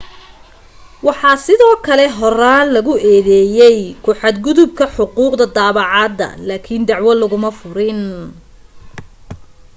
waxaa sidoo kale horaan lagu eedeeyay ku xad gudubka xuquuqda daabacaadda laakin dacwo laguma furin